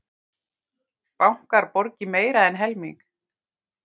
Bankar borgi meira en helming